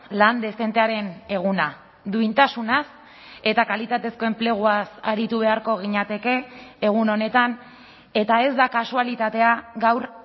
lan dezentearen eguna duintasunaz eta kalitatezko enpleguaz aritu beharko ginateke egun honetan eta ez da kasualitatea gaur